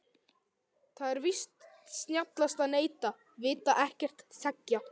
Það er víst snjallast að neita, vita ekkert, þegja.